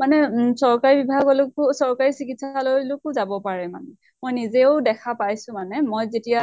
মানে চৰকাৰী বিভাগ লৈ কো চৰকাৰী চিকিৎসালয় লৈকো যাব পাৰে মানে। মই নিজেও দেখা পাইছো মানে। মই যেতিয়া